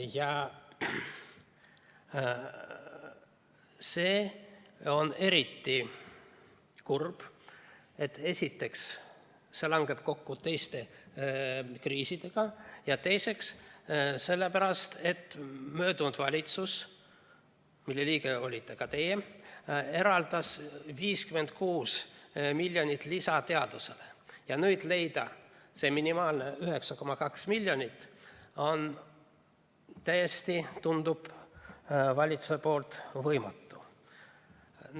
Ja see on eriti kurb, et esiteks see langeb kokku teiste kriisidega, ja teiseks sellepärast, et möödunud valitsus, mille liige olite ka teie, eraldas 56 miljonit lisa teadusele, ja nüüd leida see minimaalne 9,2 miljonit on täiesti, tundub, valitsuse poolt võimatu.